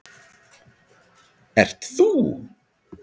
ert ÞÚ.